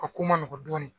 A ko ma nɔgɔn dɔɔnin